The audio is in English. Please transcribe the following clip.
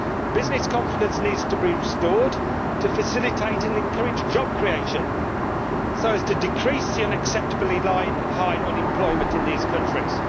Business confidence needs to be restored to facilitate and encourage job creation so as to decrease the unacceptably high unemployment in these countries.